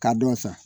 K'a dɔn sa